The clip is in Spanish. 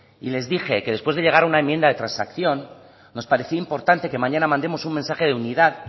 y les dije que después de llegar a una enmienda de transacción nos parecía importante que mañana mandemos un mensaje de unidad